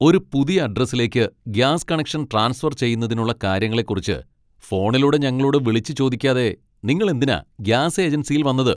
ഒരു പുതിയ അഡ്രസ്സിലേക്ക് ഗ്യാസ് കണക്ഷൻ ട്രാൻസ്ഫർ ചെയ്യുന്നതിനുള്ള കാര്യങ്ങളെക്കുറിച്ച് ഫോണിലൂടെ ഞങ്ങളോട് വിളിച്ചു ചോദിക്കാതെ നിങ്ങൾ എന്തിനാ ഗ്യാസ് ഏജൻസിയിൽ വന്നത്?